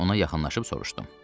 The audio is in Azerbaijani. Mən ona yaxınlaşıb soruşdum.